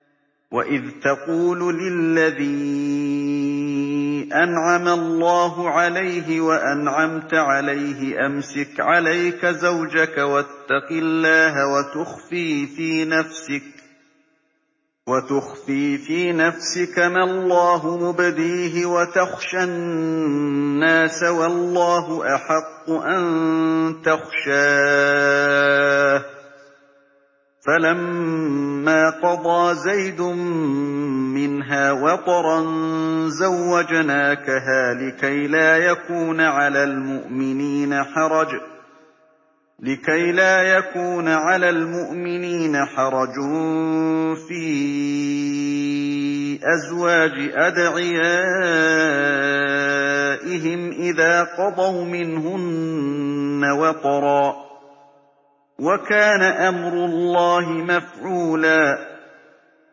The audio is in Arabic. وَإِذْ تَقُولُ لِلَّذِي أَنْعَمَ اللَّهُ عَلَيْهِ وَأَنْعَمْتَ عَلَيْهِ أَمْسِكْ عَلَيْكَ زَوْجَكَ وَاتَّقِ اللَّهَ وَتُخْفِي فِي نَفْسِكَ مَا اللَّهُ مُبْدِيهِ وَتَخْشَى النَّاسَ وَاللَّهُ أَحَقُّ أَن تَخْشَاهُ ۖ فَلَمَّا قَضَىٰ زَيْدٌ مِّنْهَا وَطَرًا زَوَّجْنَاكَهَا لِكَيْ لَا يَكُونَ عَلَى الْمُؤْمِنِينَ حَرَجٌ فِي أَزْوَاجِ أَدْعِيَائِهِمْ إِذَا قَضَوْا مِنْهُنَّ وَطَرًا ۚ وَكَانَ أَمْرُ اللَّهِ مَفْعُولًا